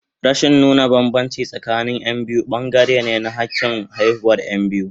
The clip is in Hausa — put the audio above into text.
Rashin nuna bambanci tsakanin Yan biyu bangare ne na hakin haihuwar Yan biyu.